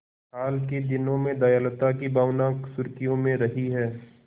हाल के दिनों में दयालुता की भावना सुर्खियों में रही है